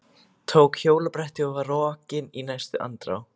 Tók hjólabrettið og var rokinn í næstu andrá.